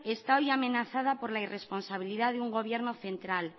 está hoy amenazada por la responsabilidad de un gobierno central